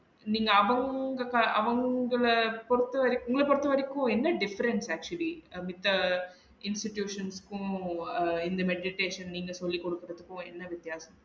நீங்க அவுங்~ அவுங்கள பொறுத்த வரைக்கும் உங்கள பொறுத்த வரைக்கும் என்ன difference actually மித்த institutions க்கும் அஹ் இந்த menditation நீங்க சொல்லி குடுக்குறதுக்கும் என்ன வித்யாசம்